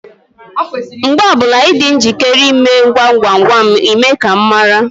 Mgbe ọbụla Ị dị njikere ịme gwam gwam gwam, Ị mee ka m mara.